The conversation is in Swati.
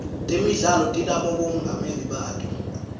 temidlalo tinabomongameli bato